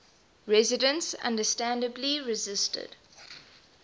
residents understandably resisted